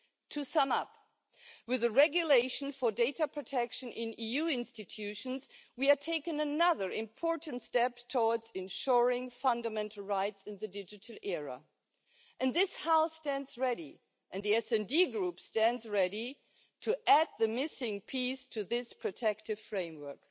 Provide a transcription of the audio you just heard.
To sum up, with the regulation for data protection in EU institutions, we are taking another important step towards ensuring fundamental rights in the digital era, and this House stands ready and the SD Group stands ready to add the missing piece to this protective framework.